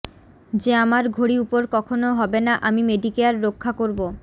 যে আমার ঘড়ি উপর কখনও হবে না আমি মেডিকেয়ার রক্ষা করবো